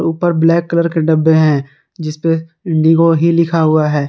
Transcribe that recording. ऊपर black colour के डब्बे हैं जिस पे इंडिगो ही लिखा हुआ है।